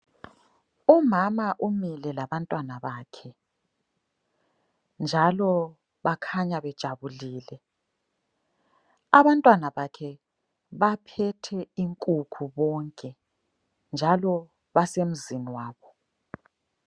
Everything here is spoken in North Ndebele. Umama umile labantwana bakhe njalo bakhanya bejabulile. Abantwana bakhe baphethe inkukhu bonke njalo basemzini wabo.